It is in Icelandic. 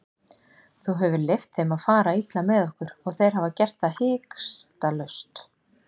Þú hefur leyft þeim að fara illa með okkur og þeir hafa gert það hikstalaust.